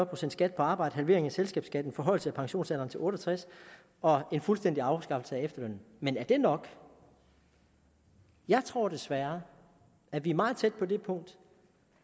procent skat på arbejde halvering af selskabsskatten forhøjelse af pensionsalderen til otte og tres år og en fuldstændig afskaffelse af efterlønnen men er det nok jeg tror desværre at vi er meget tæt på det punkt